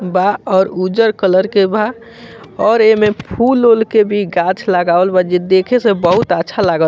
बा और उज्जर कलर के बा और ऐमे फूल-उल के भी गाछ लगावल बा जे देखे से बहुत अच्छा लाग --